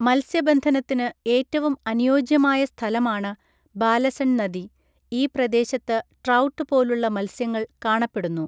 മത്സ്യബന്ധനത്തിന് ഏറ്റവും അനുയോജ്യമായ സ്ഥലമാണ് ബാലസൺ നദി, ഈ പ്രദേശത്ത് ട്രൗട്ട് പോലുള്ള മത്സ്യങ്ങൾ കാണപ്പെടുന്നു.